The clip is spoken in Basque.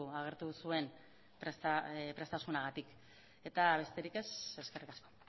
agertu zuen prestutasunagatik eta besterik ez eskerrik asko